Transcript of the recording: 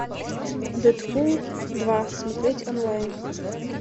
дэдпул два смотреть онлайн